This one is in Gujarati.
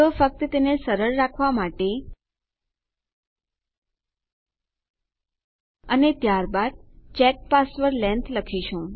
તો ફક્ત તેને સરળ રાખવા માટે અને ત્યારબાદ ચેક પાસવર્ડ લેંગ્થ લખીશું